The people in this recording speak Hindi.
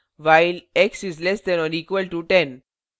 उदाहरण whilex is less than or equal to 10